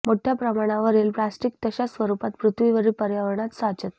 मोठ्या प्रमाणावरील प्लास्टिक तशाच स्वरूपात पृथ्वीवरील पर्यावरणात साचतं